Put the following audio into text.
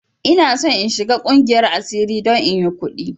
Ina son in shiga ƙungiyar asiri don inyi ƙudi!